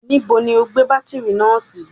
Níbo ni o gbé bátírì náà sí?